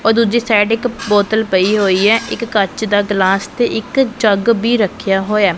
ਉਹ ਦੂਜੀ ਸਾਈਡ ਇੱਕ ਬੋਤਲ ਪਈ ਹੋਈ ਐ ਇੱਕ ਕੱਚ ਦਾ ਗਲਾਸ ਤੇ ਇੱਕ ਜੱਗ ਬੀ ਰੱਖਿਆ ਹੋਇਆ।